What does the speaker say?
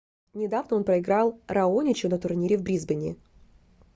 недавно он проиграл раоничу на турнире в брисбене